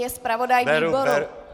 Je zpravodaj výboru.